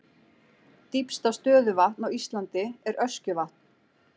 Dýpsta stöðuvatn á Íslandi er Öskjuvatn.